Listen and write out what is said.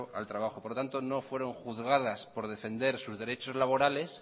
al trabajo por lo tanto no fueron juzgadas por defender sus derechos laborales